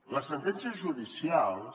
les sentències judicials